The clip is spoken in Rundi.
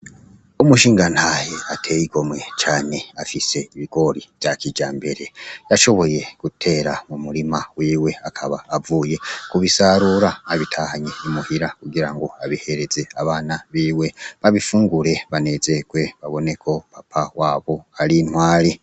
Umushingantahe ateye igomwe cane afise ibigori vya kijambere, yashoboye gutera mu murima wiwe akaba avuye kubisarura, abitahanye i muhira kugira ngo abihereze abana biwe babifungure banezerewe babone ko papa wabo ari intwari.